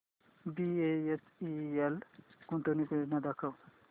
BHEL गुंतवणूक योजना दाखव